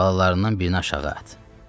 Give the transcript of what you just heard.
Balalarından birini aşağı at.